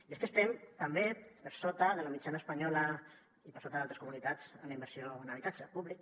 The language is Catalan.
i és que estem també per sota de la mitjana espanyola i per sota d’altres comunitats en la inversió en habitatge públic